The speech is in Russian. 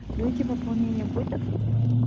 люди пополнение будет